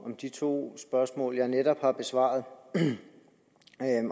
om de to spørgsmål jeg netop har besvaret